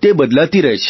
તે બદલાતી રહે છે